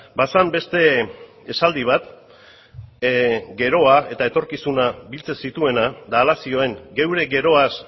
bazen beste esaldi bat geroa eta etorkizuna biltzen zituena eta hala zioen geure geroaz